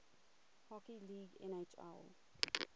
hockey league nhl